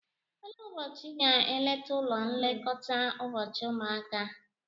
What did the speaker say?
Elee ụbọchị ị ga-eleta ụlọ nlekọta ụbọchị ụmụaka?